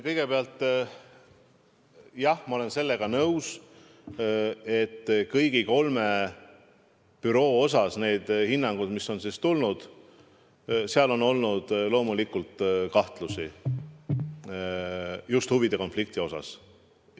Kõigepealt, jah, ma olen sellega nõus, et kõigi kolme büroo puhul hinnangutes, mis on tulnud, on olnud loomulikult kahtlusi just huvide konflikti osas.